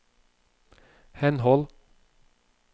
henhold